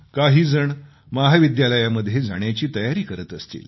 काहीजण महाविद्यालयामध्ये जाण्याची तयारी करीत असतील